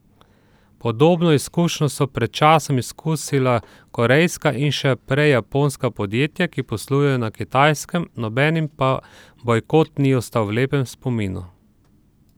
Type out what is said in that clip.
Podobno izkušnjo so pred časom izkusila korejska in še prej japonska podjetja, ki poslujejo na Kitajskem, nobenim pa bojkot ni ostal v lepem spominu.